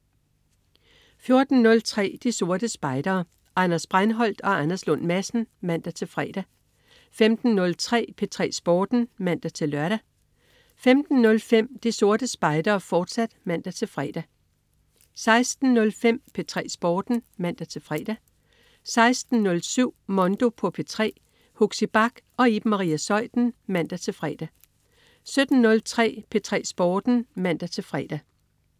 14.03 De Sorte Spejdere. Anders Breinholt og Anders Lund Madsen (man-fre) 15.03 P3 Sporten (man-lør) 15.05 De Sorte Spejdere, fortsat (man-fre) 16.05 P3 Sporten (man-fre) 16.07 Mondo på P3. Huxi Bach og Iben Maria Zeuthen (man-fre) 17.03 P3 Sporten (man-fre)